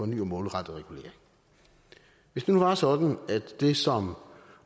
ny og målrettet regulering hvis det nu var sådan at det som